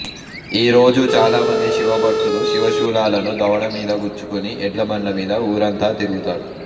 ఆ రోజు చాలామంది శివభక్తులు శివశూలాలను దవడ మీద గుచ్చుకుని ఎడ్లబండ్ల మీద ఊరంతా తిరుగుతారు